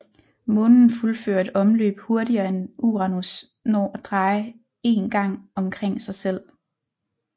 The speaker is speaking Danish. Månen fuldfører et omløb hurtigere end Uranus når at dreje én gang omkring sig selv